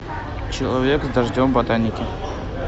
человек с дождем в ботинках